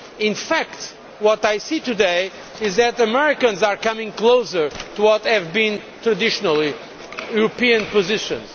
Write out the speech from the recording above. In fact, what I see today is that the Americans are coming closer to what have been traditionally European positions.